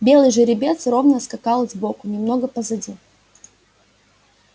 белый жеребец ровно скакал сбоку немного позади